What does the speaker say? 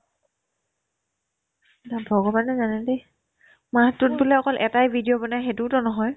তাক ভগৱানে জানেদি মাহতো বোলে অকল এটাই video বনাই সেইটোও নহয়